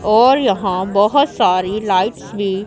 और यहां बहुत सारी लाइट्स भी--